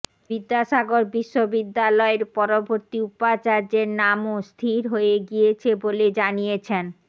বিদ্যাসাগর বিশ্ববিদ্যালয়ের পরবর্তী উপাচার্যের নামও স্থির হয়ে হয়ে গিয়েছে বলে জানিয়েছেন